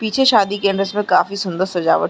पीछे शादी के में काफी सुन्दर सजावट --